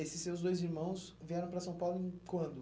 Esses seus dois irmãos vieram para São Paulo em quando?